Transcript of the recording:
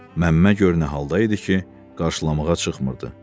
Məmmə gör nə halda idi ki, qarşılamağa çıxmırdı.